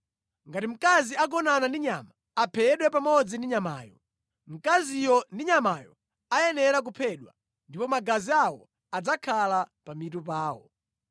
“ ‘Ngati mkazi agonana ndi nyama, aphedwe pamodzi ndi nyamayo. Mkaziyo ndi nyamayo ayenera kuphedwa, ndipo magazi awo adzakhala pa mitu pawo.